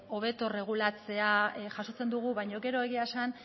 hobeto erregulatzea jasotzen dugu baina gero egia esan